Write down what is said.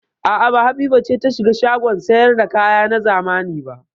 A'a, ba Habiba ce ta shiga shagon sayar da kaya na zamani ba.